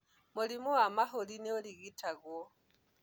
mũrimũ wa mahũri nĩũrigitagũo